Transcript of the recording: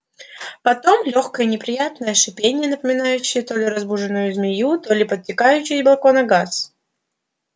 потом лёгкое неприятное шипение напоминающее то ли разбуженную змею то ли подтекающий из балкона газ